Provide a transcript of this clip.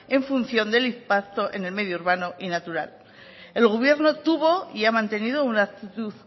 en función del impacto en el medio urbano y natural el gobierno tuvo y ha mantenido una actitud